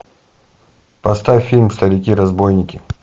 поставь фильм старики разбойники